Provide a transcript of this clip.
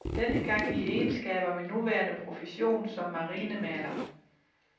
Denne gang i egenskab af min nuværende profession som marinemaler.